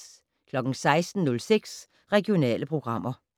16:06: Regionale programmer